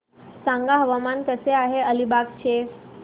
सांगा हवामान कसे आहे अलिबाग चे